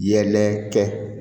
Yɛlɛ kɛ